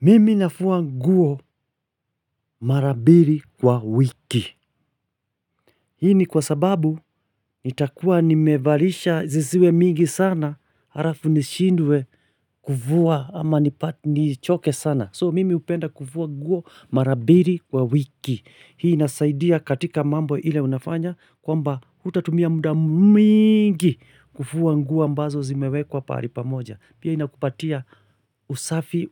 Mimi nafua nguo mara mbili kwa wiki. Hii ni kwa sababu nitakua nimevalisha zisiwe mingi sana halafu nishindwe kufua ama nipate nichoke sana So mimi hupenda kufua nguo mara mbili kwa wiki. Hii inasaidia katika mambo ile unafanya kwamba utatumia muda mingi kufua nguo ambazo zimewekwa pahali pamoja. Pia inakupatia usafi